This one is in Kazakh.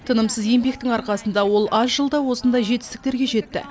тынымсыз еңбектің арқасында ол аз жылда осындай жетістіктерге жетті